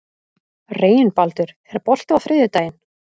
Reginbaldur, er bolti á þriðjudaginn?